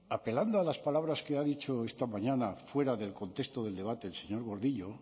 apelando a las palabras que ha dicho esta mañana fuera del contexto del debate el señor gordillo